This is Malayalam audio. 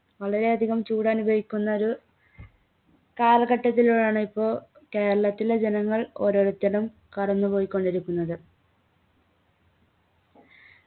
വളരെ അധികം ചൂടനുഭവിക്കുന്നൊരു കാലഘട്ടത്തിലാണ് ഇപ്പൊ കേരളത്തിലെ ജനങ്ങൾ ഓരോരുത്തരും കടന്നുപോയികൊണ്ടിരിക്കുന്നത്